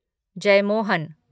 Jeyamohan